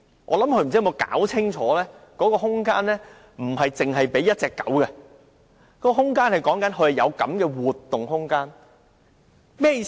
我想她沒有弄清楚，那空間不是只給1隻狗活動，而是指活動空間大小。